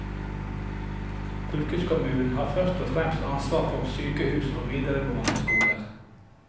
Fylkeskommunen har først og fremst ansvar for sykehus og videregående skoler.